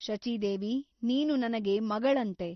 ಶಚೀದೇವಿ ನೀನು ನನಗೆ ಮಗಳಂತೆ !